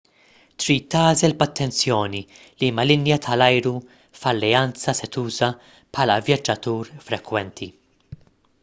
trid tagħżel b'attenzjoni liema linja tal-ajru f'alleanza se tuża bħala vjaġġatur frekwenti